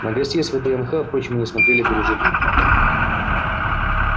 на гостей с вднх впрочем мы смотрели дружелюбно